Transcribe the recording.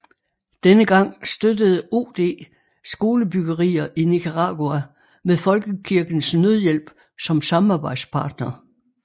Denne gang støttede OD skolebyggerier i Nicaragua med Folkekirkens Nødhjælp som samarbejdspartner